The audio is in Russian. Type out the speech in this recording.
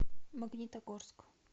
магнитогорск